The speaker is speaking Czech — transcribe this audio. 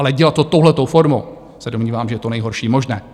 Ale dělat to touhle formou, se domnívám, že je to nejhorší možné.